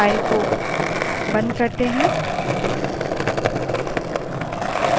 इस file को बंद करें